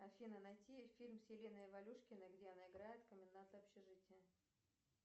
афина найти фильм с еленой валюшкиной где она играет коменданта общежития